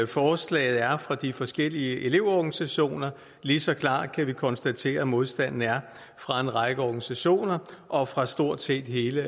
forslaget er fra de forskellige elevorganisationer lige så klart kan vi konstatere at modstanden er fra en række organisationer og fra stort set hele